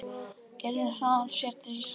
Gerður hraðar sér til Íslands.